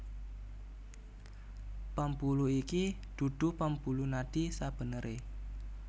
Pambuluh iki dudu pambuluh nadi sabeneré